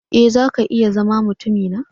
E! zaka iya zama mutumina.